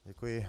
Děkuji.